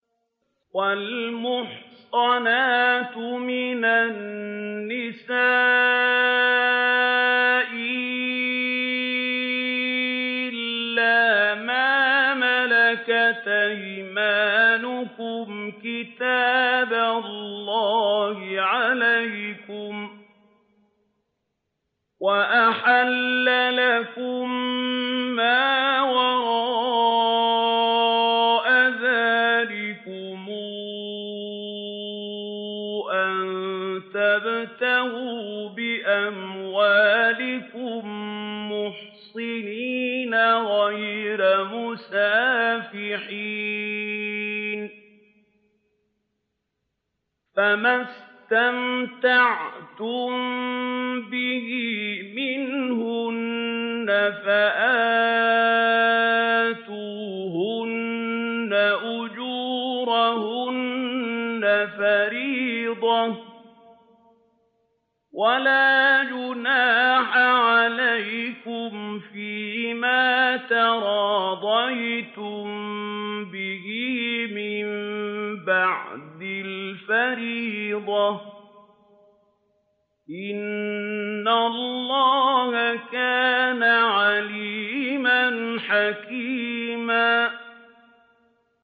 ۞ وَالْمُحْصَنَاتُ مِنَ النِّسَاءِ إِلَّا مَا مَلَكَتْ أَيْمَانُكُمْ ۖ كِتَابَ اللَّهِ عَلَيْكُمْ ۚ وَأُحِلَّ لَكُم مَّا وَرَاءَ ذَٰلِكُمْ أَن تَبْتَغُوا بِأَمْوَالِكُم مُّحْصِنِينَ غَيْرَ مُسَافِحِينَ ۚ فَمَا اسْتَمْتَعْتُم بِهِ مِنْهُنَّ فَآتُوهُنَّ أُجُورَهُنَّ فَرِيضَةً ۚ وَلَا جُنَاحَ عَلَيْكُمْ فِيمَا تَرَاضَيْتُم بِهِ مِن بَعْدِ الْفَرِيضَةِ ۚ إِنَّ اللَّهَ كَانَ عَلِيمًا حَكِيمًا